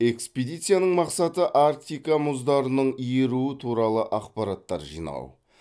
экспедицияның мақсаты арктика мұздарының еруі туралы ақпараттар жинау